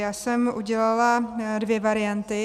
Já jsem udělala dvě varianty.